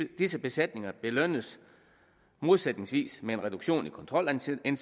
disse besætninger belønnes modsætningsvis med en reduktion i kontrolindsatsen